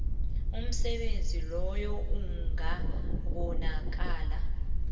umsebenzi loyo ungabonakala